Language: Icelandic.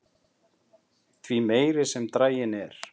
því meiri sem draginn er